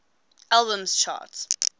albums chart